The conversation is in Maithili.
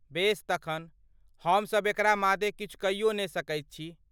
बेस तखन, हम सब एकरा मादे किछु कइयो ने सकैत छी।